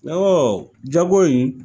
jago in